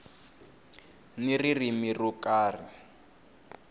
ni ririmi ro ka ri